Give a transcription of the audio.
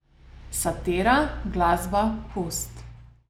Satira, glasba, pust.